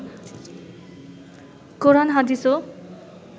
কোরান হাদিসও